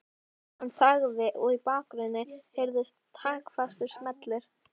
Hann þagði og í bakgrunni heyrðust taktfastir smellir.